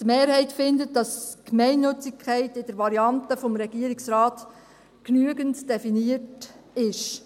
Die Mehrheit findet, dass die Gemeinnützigkeit in der Variante des Regierungsrates genügend definiert ist.